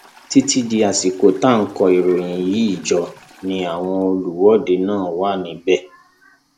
títí di àsìkò tá a kó ìròyìn yìí jọ ni àwọn olùwọde náà wà níbẹ